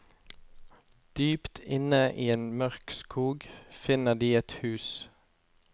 Dypt inne i en mørk skog, finner de et hus.